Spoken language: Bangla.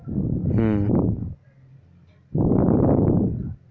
হু